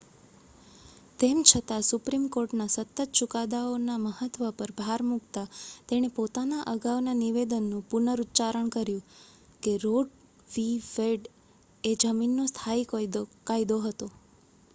"તેમ છતાં સુપ્રીમ કોર્ટના સતત ચુકાદાઓના મહત્વ પર ભાર મૂકતા તેણે પોતાના અગાઉના નિવેદનનું પુનરુચ્ચારણ કર્યું કે રો વિ. વેડ એ "જમીનનો સ્થાયી કાયદો" હતો.